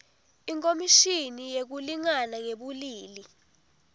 ikhomishini yekulingana ngebulili